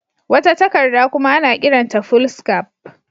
Wata takardar kuma ana kiranta Foolscap.